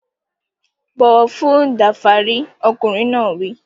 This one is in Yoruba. Bọ̀wọ̀ fún Danfari! Ọkùnrin náà wí.